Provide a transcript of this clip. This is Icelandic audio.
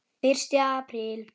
Fyrsti apríl.